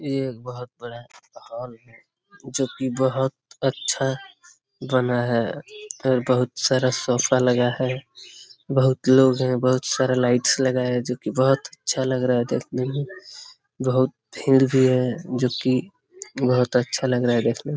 ये एक बहुत बड़ा हाल है जो की बहुत अच्छा बना है फिर बहुत सारा सोफा लगा है बहुत लोग हैं बहुत सारे लाइट्स लगा हैं जो की अच्छा लग रहा है देखने में बहुत भीड़ भी है जो की बहुत अच्छा लग रहा है देखने में।